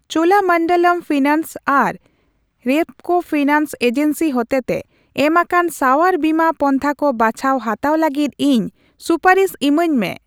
Cholamandalam finance ᱟᱨ Repco finance agency ᱦᱚᱛᱮᱛᱮ ᱮᱢᱟᱠᱟᱱ ᱥᱟᱶᱟᱨ ᱵᱤᱢᱟ ᱯᱚᱱᱛᱷᱟ ᱠᱚ ᱵᱟᱪᱷᱟᱣ ᱦᱟᱛᱟᱣ ᱞᱟᱹᱜᱤᱫ ᱤᱧ ᱥᱩᱯᱟᱨᱤᱥ ᱤᱢᱟᱹᱧ ᱢᱮ ᱾